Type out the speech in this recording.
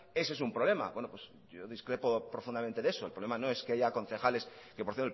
ese es un problema yo discrepo profundamente de eso el problema no es que haya concejales que por